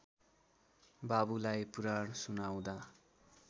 बाबुलाई पुराण सुनाउँदा